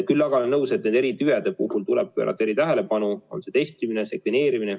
Küll aga olen nõus, et nendele eritüvedele tuleb pöörata eritähelepanu – on see testimine, sekveneerimine.